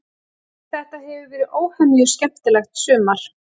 Þetta hefur verið óhemju skemmtilegt sumar.